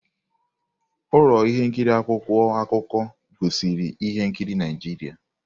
Ụlọ ihe nkiri akwụkwọ akụkọ gosiri ihe nkiri Naijiria.